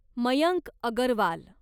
Mayank Agarwal